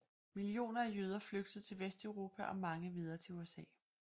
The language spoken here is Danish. Millioner af jøder flygtede til Vesteuropa og mange videre til USA